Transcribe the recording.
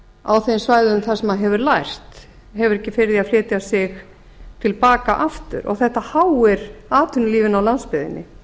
á þeim svæðum þar sem það hefur lært hefur ekki fyrir því að flytja sig til baka aftur og þetta háir atvinnulífinu á landsbyggðinni